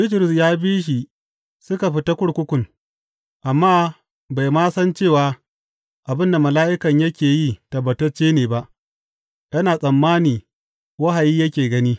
Bitrus ya bi shi suka fita kurkukun, amma bai ma san cewa abin da mala’ikan yake yi tabbatacce ne ba; yana tsammani wahayi yake gani.